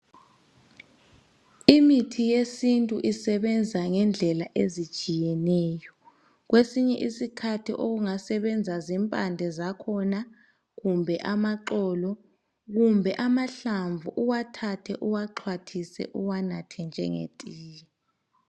Imithi yesintu isebenza ngendlela ezitshiyeneyo. Kwesinye isikhathi okungasebenza zimpande zakhona kumbe amaxolo loba amahlamvu, uyawathatha uwaxhathise uwanathe njengetiye.